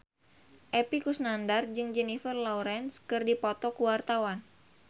Epy Kusnandar jeung Jennifer Lawrence keur dipoto ku wartawan